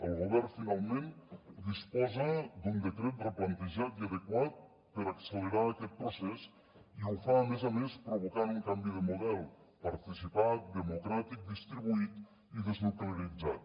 el govern finalment disposa d’un decret replantejat i adequat per accelerar aquest procés i ho fa a més a més provocant un canvi de model participat democràtic distribuït i deslocalitzat